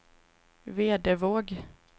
Vedevåg